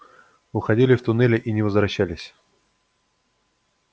уходили в туннели и не возвращались